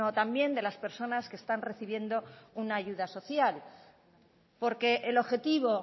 también de las personas que están recibiendo una ayuda social porque el objetivo